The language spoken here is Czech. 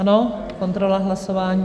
Ano, kontrola hlasování.